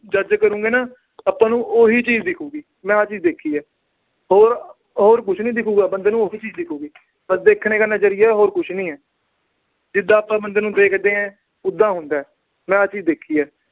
judge ਕਰੋਗੇ ਨਾ ਆਪਾ ਨੂੰ ਉਹੀ ਚੀਜ ਦਿਖੂਗੀ। ਮੈਂ ਆਹ ਚੀਜ ਦੇਖੀ ਆ। ਹੋਰ ਅਹ ਹੋਰ ਕੁਛ ਨੀ ਦਿਖੂਗਾ ਬੰਦੇ ਨੂੰ, ਆ ਹੀ ਚੀਜ ਦਿਖੂਗੀ। ਬੱਸ ਦੇਖਣੇ ਦਾ ਨਜਰੀਆ, ਹੋਰ ਕੁਛ ਨਹੀਂ ਆ। ਜਿਦਾਂ ਆਪਾ ਬੰਦੇ ਨੂੰ ਦੇਖਦੇ ਆ, ਉਦਾਂ ਹੁੰਦਾ। ਮੈਂ ਆਹ ਚੀਜ ਦੇਖੀ ਆ।